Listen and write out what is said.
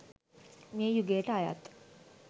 මේ යුගයට අයත්